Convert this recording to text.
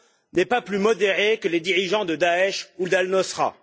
n'est pas plus modéré que les dirigeants de Daech ou d'Al Nosra.